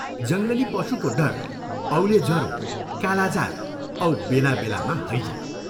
जङ्गली पशुको डर, औले जरो, कालाजार औ बेला बेलामा हैजा।